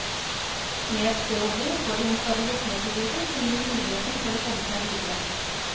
Med et sted å bo får de en stabilitet i livet, som gir muligheten for å komme seg videre.